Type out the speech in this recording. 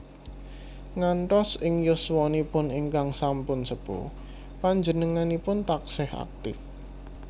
Ngantos ing yuswanipun ingkang sampun sepuh panjenenganipun taksih aktif